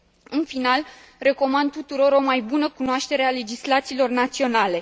În final, recomand tuturor o mai bună cunoaștere a legislațiilor naționale.